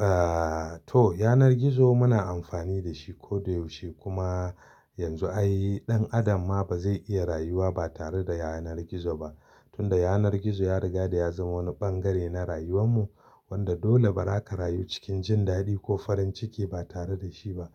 Eh, to yanar gizo muna amfani da shi ko da yaushe kuma yanzu ai ɗan adam ma ba zai iya rayuwa ba tare da yanar gizo ba. Tun da yanar gizo ya riga ya zama wani ɓangare na rayuwan mu, wanda dole ba ra ka rayu cikin jin daɗi ko farin ciki ba tare da shi ba.